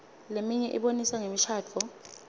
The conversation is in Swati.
leminye ibonisa ngemishadvo